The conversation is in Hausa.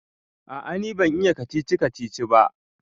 A'a ni ban iya kacici-kacici ba